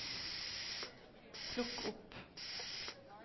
plukk opp